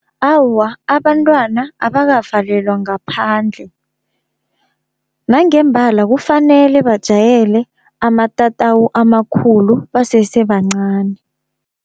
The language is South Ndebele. Awa abantwana abakavalelwa ngaphandle, nangembala kufanele bajayele amatatawu amakhulu basese bancani.